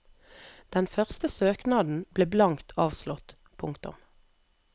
Den første søknaden ble blankt avslått. punktum